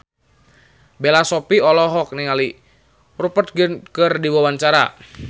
Bella Shofie olohok ningali Rupert Grin keur diwawancara